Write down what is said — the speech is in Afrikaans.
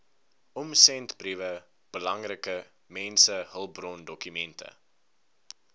omsendbriewe belangrike mensehulpbrondokumente